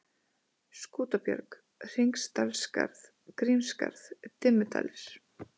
Skútabjörg, Hringsdalsskarð, Grímsskarð, Dimmudalir